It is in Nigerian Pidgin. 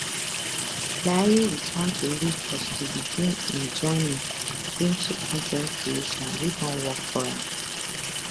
layi return to lagos to begin im journey into con ten t creation wey don work for am